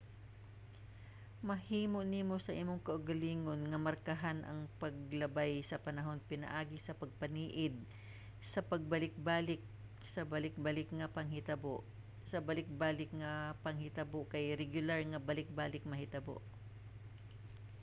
mahimo nimo sa imong kaugalingon nga markahan ang paglabay sa panahon pinaagi sa pagpaniid sa pagbalikbalik sa balik-balik nga panghitabo. ang balik-balik nga panghitabo kay regular nga balik-balik mahitabo